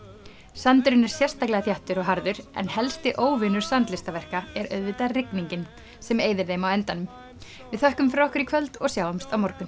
sandurinn er sérstaklega þéttur og harður en helsti óvinur er auðvitað rigningin sem eyðir þeim á endanum við þökkum fyrir okkur í kvöld og sjáumst á morgun